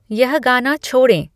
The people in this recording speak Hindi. यह गाना छोड़ें